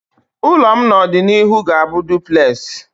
Ụlọ m n'ọdịnihu ga-abụ Dụplesị